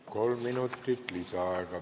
Kolm minutit lisaaega.